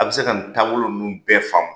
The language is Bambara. A bi se ka nin taabolo nunnu bɛɛ faamu